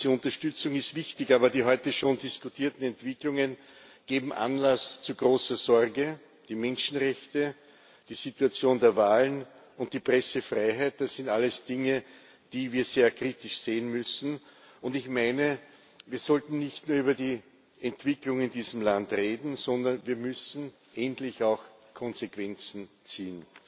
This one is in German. Diese Unterstützung ist wichtig, aber die heute schon diskutierten Entwicklungen geben Anlass zu großer Sorge. Die Menschenrechte, die Situation der Wahlen und die Pressefreiheit, das sind alles Dinge, die wir sehr kritisch sehen müssen und ich meine, wir sollten nicht nur über die Entwicklung in diesem Land reden, sondern wir müssen endlich auch Konsequenzen daraus ziehen.